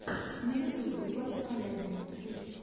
на ютубе злата калягина клип